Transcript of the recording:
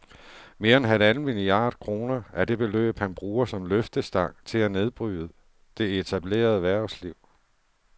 Mere end halvanden milliard kroner er det beløb, han bruger som løftestang til at nedbryde det etablerede erhvervsliv